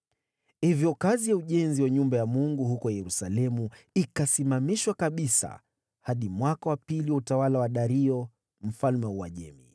Hivyo kazi ya ujenzi wa nyumba ya Mungu huko Yerusalemu ikasimamishwa kabisa hadi mwaka wa pili wa utawala wa Dario mfalme wa Uajemi.